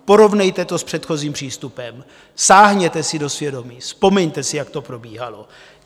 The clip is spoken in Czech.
Porovnejte to s předchozím přístupem, sáhněte si do svědomí, vzpomeňte si, jak to probíhalo.